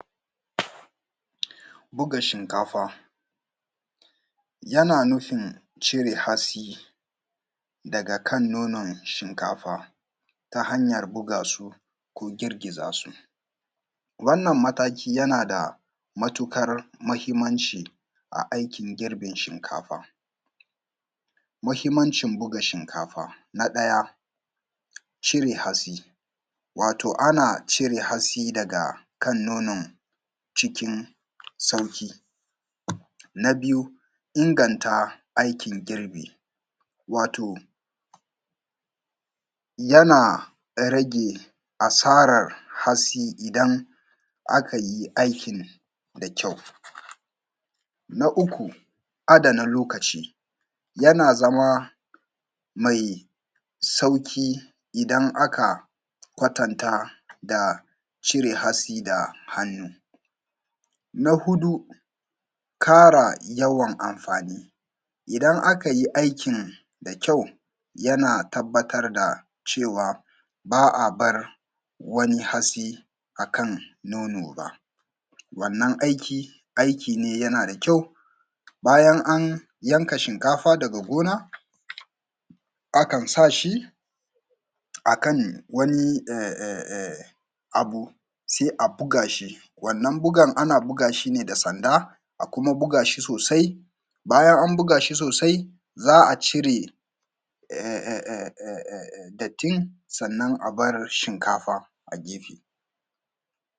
bu:ga: ʃinka:fa jana nufin ʧire hatsi daga kan no:non ʃinka:fa ta hanjan bu:ga: su ko girgi:za: su wan:an mata:ki jana da ma:tuuƙar muhimmanʧi a aikin girbin ʃinka:fa mahimmanʧi bu:ga ʃinka:fa na ɗa:ja ʧire hatsi wato ana ʧire hatsi daga kan no:non ʧikin sauƙi na biju inganta aikin girbi wa:to jana rage asa:rar hatsi idan a kai aikin da kjau na uku a:dana lo:ka:ʧi jana zama mai sauƙi idan aka aka kwatanta: da ʧire hatsi da han:u na huɗu ƙa:ra jawan amfani: idan akaji aikin da kjau jana tab:atar da ʧewa ba a barin wani hatsi akan no:no ba wan:an aiki aiki: ne jana da kjau bajan an janka ʃinka:fa daga go:na akan sa: ʃi a kan wani abu sai a bu:ga ʃi wannan bugan a na bu:ga ʃi ne da sanda a kuma bu:ga ʃi so:sai bajan an bu:ga ʃi so:sai za a ʧire dat:in sannan a bar ʃinka:fa a gefe